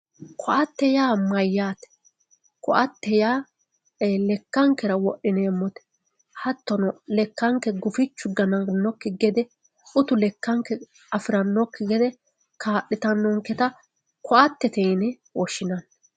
Koatte yaa mayyate, koatte yaa lekkankera wodhineemmote hattono lekkanke gufichu gananokki gede utu lekkanke afiranokki gede kaa'littanonketta koattete yine woshshinanni.